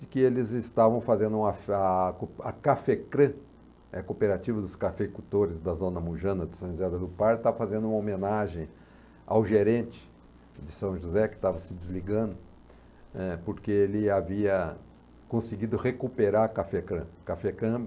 de que eles estavam fazendo a fe a a Cafecrã, eh, a cooperativa dos cafeicultores da Zona Mujana de São José do Pardo, estava fazendo uma homenagem ao gerente de São José, que estava se desligando, eh, porque ele havia conseguido recuperar a Cafecrã. Cafecrã